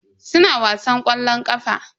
Suna wasan ƙwallon ƙafa.